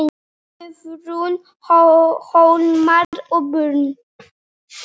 Guðrún, Hólmar og börn.